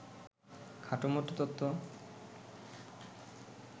খটোমটো তত্ত্ব